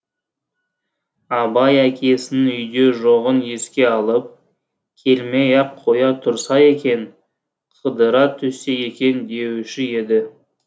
абай әкесінің үйде жоғын еске алып келмей ақ қоя тұрса екен қыдыра түссе екен деуші еді